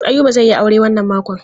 Ayuba zai yi aure wannan makon.